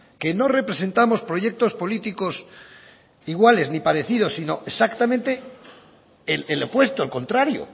que no representamos proyectos políticos iguales ni parecidos sino exactamente el opuesto el contrario